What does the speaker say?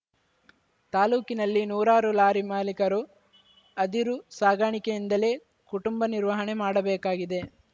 ತಾಲೂಕಿನಲ್ಲಿ ನೂರಾರು ಲಾರಿ ಮಾಲೀಕರು ಅದಿರು ಸಾಗಾಣಿಕೆಯಿಂದಲೇ ಕುಟುಂಬ ನಿರ್ವಹಣೆ ಮಾಡಬೇಕಾಗಿದೆ